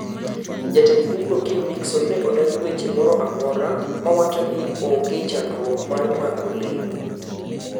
Jatend bugno, Kim Nixon, ne odagi weche moro amora mawacho ni onge chandruok mar mako le.